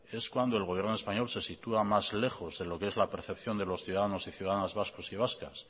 es cuando el gobierno español se sitúa más lejos de los que es percepción de los ciudadanos y ciudadanas vascos y vascas